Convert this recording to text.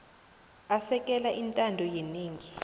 asekela intando yenengi